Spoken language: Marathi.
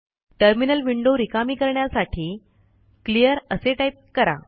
टर्मिनल विंडो रिकामी करण्यासाठी क्लिअर असे टाईप करा